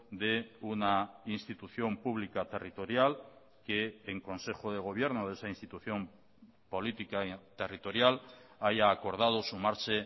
de una institución pública territorial que en consejo de gobierno de esa institución política y territorial haya acordado sumarse